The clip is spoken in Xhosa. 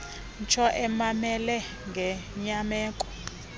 ntsho emamele ngenyameko